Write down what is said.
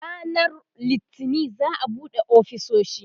ranan littani za'a buɗe ofisoshi